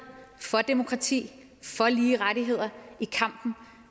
for demokrati for lige rettigheder i kampen